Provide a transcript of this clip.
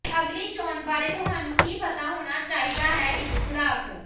ਅਗਲੀ ਚੋਣ ਬਾਰੇ ਤੁਹਾਨੂੰ ਕੀ ਪਤਾ ਹੋਣਾ ਚਾਹੀਦਾ ਹੈ ਇਕ ਖੁਰਾਕ